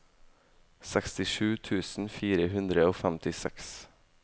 sekstisju tusen fire hundre og femtiseks